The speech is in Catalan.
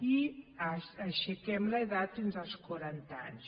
i aixequem l’edat fins als quaranta anys